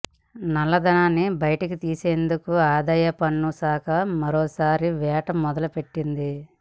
నల్లధనాన్ని బయటికి తీసేందుకు ఆదాయ పన్ను శాఖ మరోసారి వేట మొదలు పెట్టింది